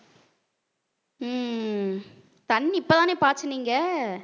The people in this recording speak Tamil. உம் தண்ணி இப்ப தானே பாய்ச்சுனீங்க